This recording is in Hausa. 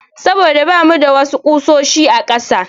Saboda bamu da wasu ƙusoshi a ƙasa.